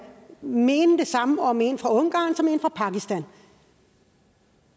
må mene det samme om en fra ungarn som en fra pakistan